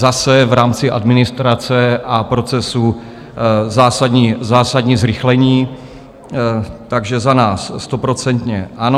Zase v rámci administrace a procesu zásadní zrychlení, takže za nás stoprocentně ano.